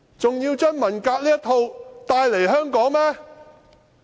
還要將文革這套帶來香港嗎？